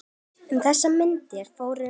Um þessar mundir fór